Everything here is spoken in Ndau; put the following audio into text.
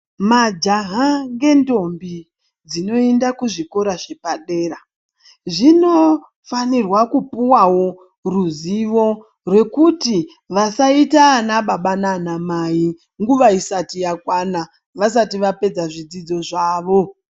Majaha ngentombi dzinoenda kuzvikora zvepedera dzinofanirwa kupuwawo ruzivo rekuti vasaita ana baba naana mai nguva isati yakwana vasati vapedza zvidzidzo zvavo.